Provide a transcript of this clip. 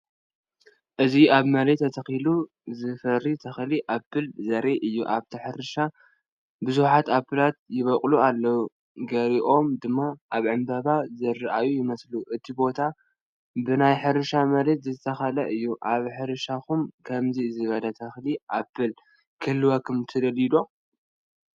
እዚ ኣብ መሬት ተተኺሉ ዝፈሪ ተክሊ ኣፕል ዘርኢ እዩ። ኣብታ ሕርሻ ብዙሓት ኣፕል ይበቁሉ ኣለዉ፡ ገሊኦም ድማ ኣብ ዕምባባ ዝረኣዩ ይመስሉ። እቲ ቦታ ብናይ ሕርሻ መሬት ዝተኸበበ እዩ። ኣብ ሕርሻኹም ከምዚ ዝበለ ተክሊ ኣፕል ክህልወኩም ትደልዩ ዶ?